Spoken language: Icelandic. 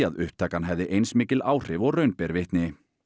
að upptakan hefði eins mikil áhrif og raun ber vitni